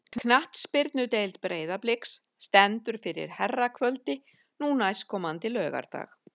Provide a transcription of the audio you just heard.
Knattspyrnudeild Breiðabliks stendur fyrir herrakvöldi nú næstkomandi laugardag.